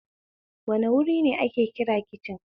Wane wuri ne ake kira kicin?